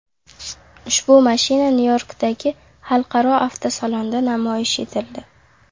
Ushbu mashina Nyu-Yorkdagi xalqaro avtosalonda namoyish etildi.